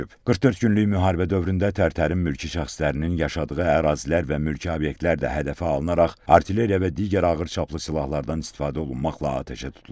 44 günlük müharibə dövründə Tərtərin mülki şəxslərinin yaşadığı ərazilər və mülki obyektlər də hədəfə alınaraq artilleriya və digər ağır çaplı silahlardan istifadə olunmaqla atəşə tutulub.